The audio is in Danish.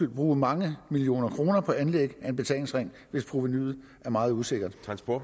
bruge mange millioner kroner på anlæg af en betalingsring hvis provenu er meget usikkert